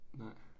Nej